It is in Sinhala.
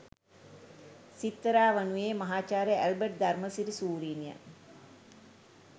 සිත්තරා වනුයේ මහාචාර්ය ඇල්බට් ධර්මසිරි ශූරින්ය.